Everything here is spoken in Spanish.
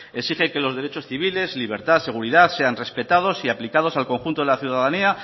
exige que los derechos civiles libertad seguridad sean respetados y aplicados al conjunto de la ciudadanía